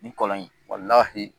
Nin kɔlɔn in